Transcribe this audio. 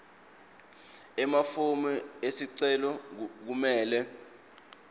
emafomu esicelo kumele